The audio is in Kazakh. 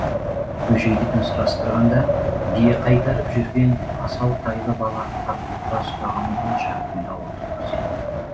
бөжейдікін сұрастырғанда бие қайтарып жүрген асау тайлы бала тап орта тұстағы он шақты үйлі ауылды көрсетті